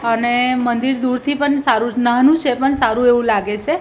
અને મંદિર દૂરથી પણ સારું નાનું છે પણ સારું એવું લાગે છે.